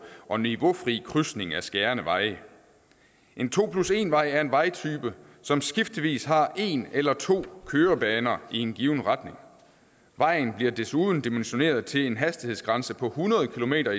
og niveaufri krydsning af skærende veje en to plus en vej er en vejtype som skiftevis har en eller to kørebaner i en given retning vejen bliver desuden dimensioneret til en hastighedsgrænse på hundrede kilometer